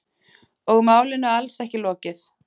Og málinu alls ekki lokið!